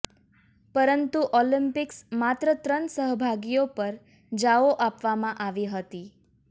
પરંતુ ઓલિમ્પિક્સ માત્ર ત્રણ સહભાગીઓ પર જાઓ આપવામાં આવી હતી